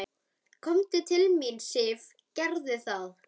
Komdu til mín, Sif, gerðu það.